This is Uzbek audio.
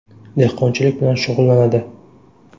Dehqonchilik bilan shug‘ullanadi.